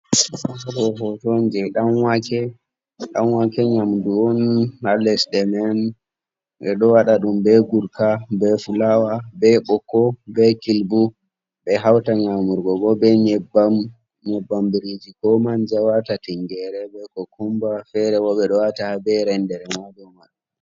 Je danwake on ɗanwake nyamdu on ha lesɗe men ɓeɗo wada ɗum be gurka be fulawa be bokko be kilbu, ɓe hauta nyamrugo gotel be nyebbam biriji, ko manja wata ti nyere be cucata, fere bo ɓeɗo wata ha be rendere ha nder man.